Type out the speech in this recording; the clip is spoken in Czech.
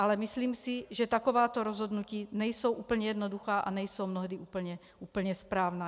Ale myslím si, že takováto rozhodnutí nejsou úplně jednoduchá a nejsou mnohdy úplně správná.